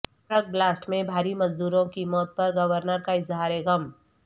truck blast میں بہاری مزدوروں کی موت پر گورنر کا اظہار غم